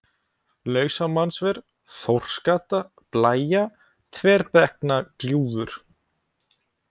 Lausamannsver, Þórsgata, Blæja, Þverbrekknagljúfur